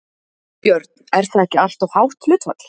Björn: Er það ekki alltof hátt hlutfall?